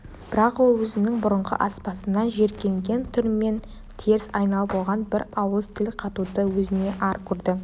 бірақ ол өзінің бұрынғы аспазынан жиіркенген түрмен теріс айналып оған бір ауыз тіл қатуды өзіне ар көрді